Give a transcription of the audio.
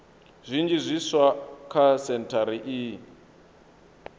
zwinzhi zwiswa kha sentshari iyi